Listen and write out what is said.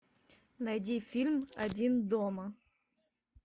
найди фильм один дома